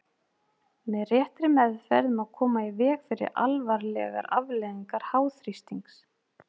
Með réttri meðferð má koma í veg fyrir alvarlegar afleiðingar háþrýstings.